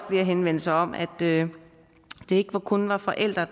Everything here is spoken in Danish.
flere henvendelser om at det ikke kun var forældre